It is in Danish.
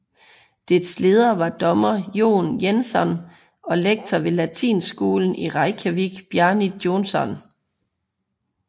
Dets ledere var dommer Jón Jensson og lektor ved Latinskolen i Reykjavik Bjarni Jónsson